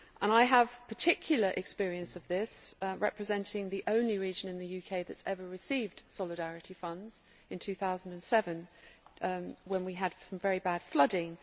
I have particular experience of this, representing the only region in the UK that has ever received Solidarity Funds in 2007 when we had some very bad flooding.